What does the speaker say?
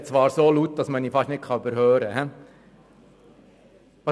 der SiK. Ich spreche zwar so laut, dass man mich fast nicht überhören kann.